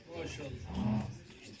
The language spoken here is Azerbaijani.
Maşallah.